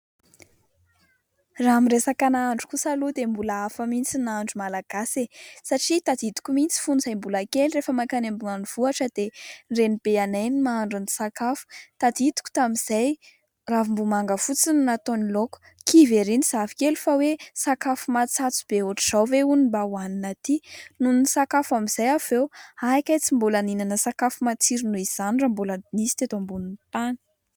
Raha amin'ny resaka nahandro kosa aloha dia mbola hafa mihintsy ny nahandro malagasy e ! Satria tadidiko mihintsy fony izahay mbola kely, rehefa mankany ambanivohitra dia ny renibenay no mahandro ny sakafo. Tadidiko tamin'izay ravimbomanga fotsiny no nataony laoka , kivy ery ny zafikely fa hoe : "sakafo matsatso be hoatran'izao ve ono no mba hoanina aty" ? Nony nisakafo amin'izay avy eo, hay tsy mbola nisy sakafo matsiro noho izany raha mbola nisy teto ambonin'ny tany.